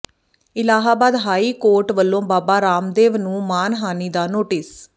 Allahabad high court ਵੱਲੋਂ ਬਾਬਾ ਰਾਮਦੇਵ ਨੂੰ ਮਾਣਹਾਨੀ ਦਾ ਨੋਟਿਸ